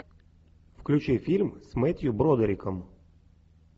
включи фильм с мэттью бродериком